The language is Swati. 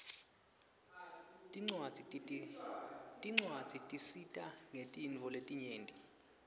tincwadzi tisita ngetintfo letinyenti